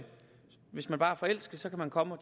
hvis man bare er forelsket så kan man komme og